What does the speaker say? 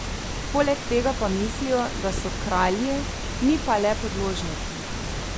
Poleg tega pa mislijo, da so kralji, mi pa le podložniki.